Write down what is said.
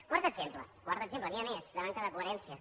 quart exemple quart exemple n’hi ha més de manca de coherència